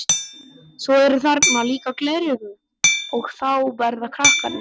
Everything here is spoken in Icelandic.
Svo eru þarna líka gleraugu og þá verða krakkarnir glaðir.